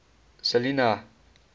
selinah